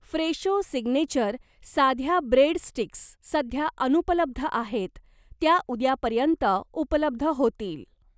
Fresho signature साध्या bread sticks सध्या अनुपलब्ध आहेत, त्या उद्यापर्यंत उपलब्ध होतील.